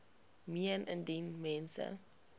meen indien mens